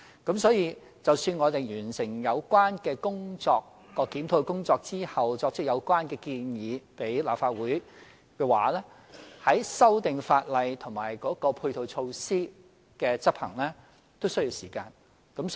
因此，待我們完成有關檢討工作，向立法會提出有關建議後，修訂法例和配套措施的執行也需要時間。